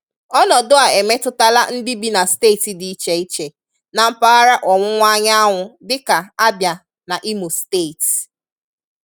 Ọnọdụ a emetụtala ndị bi na steeti dị iche iche na mpagahara Ọwụwa Anyanwụ dịka Abịa na Imo steeti.